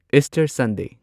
Easter Sunday